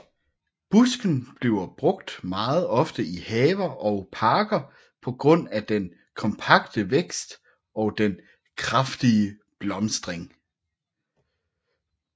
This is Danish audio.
Busken bliver brugt meget ofte i haver og parker på grund af den kompakte vækst og den kraftige blomstring